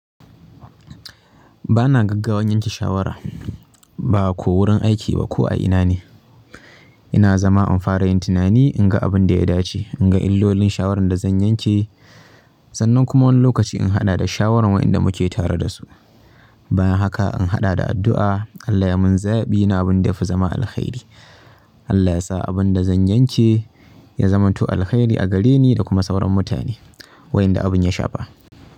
Ba na gaggawan yanke shawara, ba ko wurin aiki ba ko a ina ne. Ina zama in fara yin tunani, in ga abin da ya dace, in ga illolin shawarar da zan yanke sannan kuma wani lokaci in haɗa da shawarar waƴanda muke tare da su. Bayan haka in haɗa da addu'a Allah yai man zaɓi na abinda ya fi zama alkhairi. Allah ya sa abinda zan yanke ya zamanto alkhairi a gare ni da kuma sauran mutane waƴanda abin ya shafa.